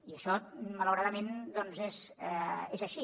i això malauradament doncs és així